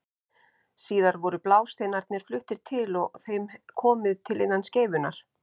Síðar voru blásteinarnir fluttir til og þeim komið fyrir innan skeifunnar.